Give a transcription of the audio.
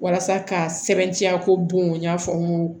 Walasa ka sɛbɛntiya ko bon y'a fɔ n ko